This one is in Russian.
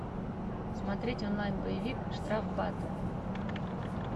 смотреть онлайн боевик штрафбат